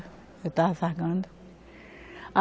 Eu estava salgando.